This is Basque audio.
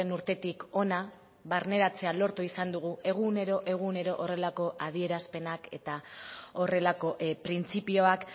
urtetik hona barneratzea lortu izan dugu egunero egunero horrelako adierazpenak eta horrelako printzipioak